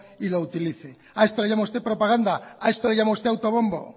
y lo utilice a esto le llama usted propaganda a esto le llama usted autobombo